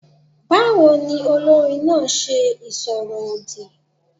Báwo ni olórin náà ṣe ìsọ̀rọ̀ òdì?